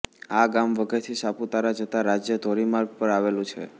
આ ગામ વઘઇથી સાપુતારા જતા રાજ્ય ધોરી માર્ગ પર આવેલું છે